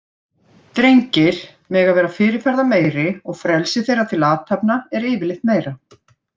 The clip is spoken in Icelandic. Drengir megi vera fyrirferðameiri og frelsi þeirra til athafna er yfirleitt meira.